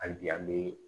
Hali bi an bɛ